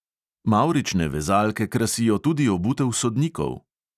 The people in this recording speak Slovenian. Mavrične vezalke krasijo tudi obutev sodnikov.